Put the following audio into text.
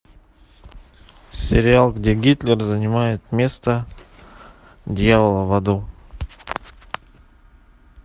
сериал где гитлер занимает место дьявола в аду